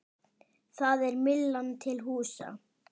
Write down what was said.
Þar er Myllan til húsa.